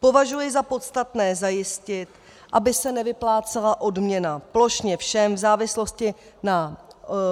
Považuji za podstatné zajistit, aby se nevyplácela odměna plošně všem v závislosti na